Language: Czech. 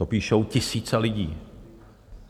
To píšou tisíce lidí.